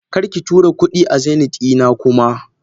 Karki tura kudi a Zeneth dina kuma.!